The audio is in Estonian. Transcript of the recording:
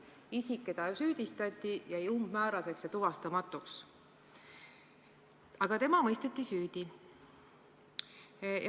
Isik, keda süüdistati, jäi umbmääraseks ja tuvastamatuks, aga see tartlanna mõisteti süüdi.